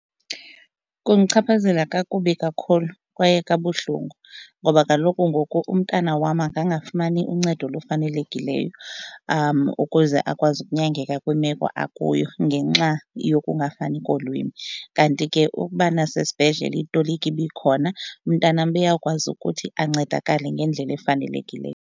Kundichaphazela kakubi kakhulu kwaye kabuhlungu ngoba kaloku ngoku umntana wam angangafumani uncedo olufanelekileyo ukuze akwazi ukunyangeka kwimeko akuyo kuba ngenxa yokungafani kolwimi. Kanti ke ukuba nasesibhedlele itoliki ibikhona umntanam beyakwazi ukuthi ancedakale ngendlela efanelekileyo.